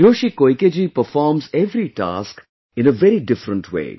Hiroshi Koike ji performs every task in a very different way